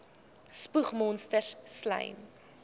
spoeg monsters slym